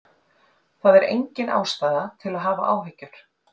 Það er engin ástæða til að hafa áhyggjur.